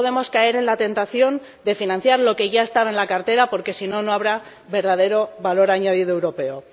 No podemos caer en la tentación de financiar lo que ya estaba en la cartera, porque si no, no habrá verdadero valor añadido europeo.